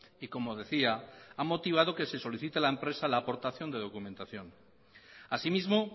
y como decía ha motivado que se solicite a la empresa la aportación de documentación asimismo